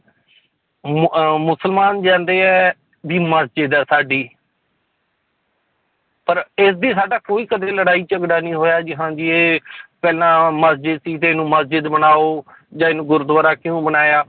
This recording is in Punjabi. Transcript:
ਮ~ ਮੁਸਲਮਾਨ ਜਾਂਦੇ ਹੈ ਵੀ ਮਸਜਿਦ ਹੈ ਸਾਡੀ ਪਰ ਇਸਦੀ ਸਾਡਾ ਕੋਈ ਕਦੇ ਲੜਾਈ ਝਗੜਾ ਨੀ ਹੋਇਆ ਕਿ ਹਾਂਜੀ ਇਹ ਪਹਿਲਾਂ ਮਸਜਿਦ ਸੀ ਤੇ ਇਹਨੂੰ ਮਸਜਿਦ ਬਣਾਓ ਜਾਂ ਇਹਨੂੰ ਗੁਰਦੁਆਰਾ ਕਿਉਂ ਬਣਾਇਆ